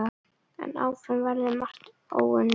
En áfram verður margt óunnið.